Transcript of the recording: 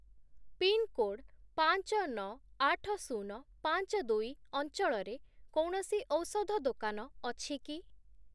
Pin code ପାଞ୍ଚ, ନଅ, ଆଠ, ଶୁନ, ପାଞ୍ଚ, ଦୁଇ ଅଞ୍ଚଳରେ କୌଣସି ଔଷଧ ଦୋକାନ ଅଛି କି?